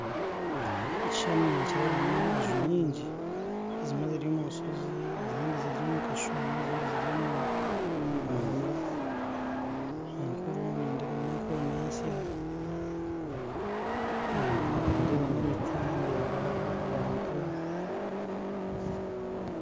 Mu kishushani ninkireebamu enju nyingi zimwe ziri omu nshozi ezindi ziri omu kashuumo ezindi ziri omu mahanga enkuru nindeebamu enkuru n'ensya nindebamu emiti ndeeba abantu